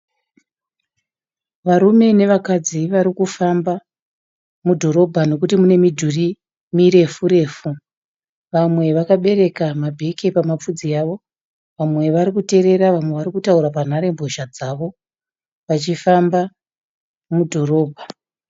Varume nevakadzi vari kufamba mudhorobha nekuti mune midhuri mirefu refu. Vamwe vakabereka mabheke pamadudzi avo, vamwe vari kuterera vamwe vachitaura panhare mbozha dzavo vachifamba mudhorobha.